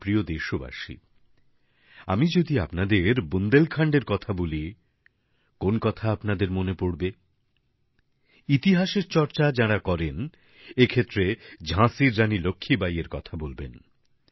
আমার প্রিয় দেশবাসী আমি যদি আপনাদের বুন্দেলখন্ডের কথা বলি কোন কথা আপনাদের আপনাদের মনে পড়বে ইতিহাসের চর্চা যাঁরা করেন এ ক্ষেত্রে ঝাঁসির রাণী লক্ষ্মীবাই এর কথা বলবেন